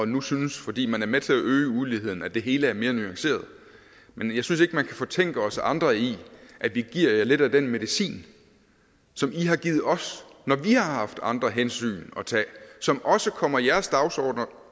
nu synes fordi man er med til at øge uligheden at det hele er mere nuanceret men jeg synes ikke man kan fortænke os andre i at vi giver jer lidt af den medicin som i har givet os når vi har haft andre hensyn at tage som også kommer jeres dagsordener